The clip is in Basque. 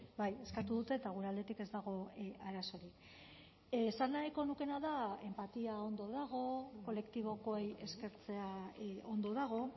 bai eskatu dute eta gure aldetik ez dago arazorik esan nahiko nukeena da enpatia ondo dago kolektibokoei eskertzea ondo dago